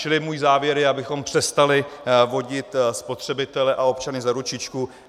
Čili můj závěr je, abychom přestali vodit spotřebitele a občany za ručičku.